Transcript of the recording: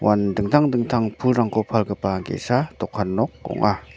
uan dingtang dingtang pulrangko palgipa ge·sa dokan nok ong·a.